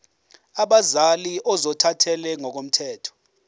abazali ozothathele ngokomthetho